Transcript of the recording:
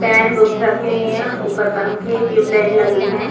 Pen books रखी हुई है ऊपर पंखे टियूबलाइट लगे है।